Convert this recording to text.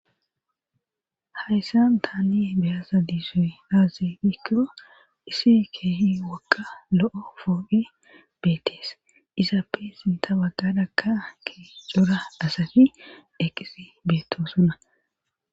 Hayssan taani be7aza dizoy aaze giikko issi keehi wogga lo7o pooqet beettes izappe sintta baggarakka keehi cora asati eqqidi beettosona